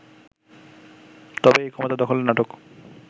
তবে এই ক্ষমতা দখলের নাটক